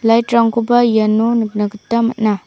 light-rangkoba iano nikna gita man·a.